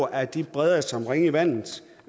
at det breder sig som ringe i vandet